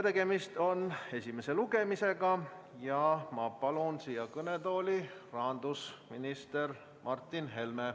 Tegemist on esimese lugemisega ja ma palun siia kõnetooli rahandusminister Martin Helme.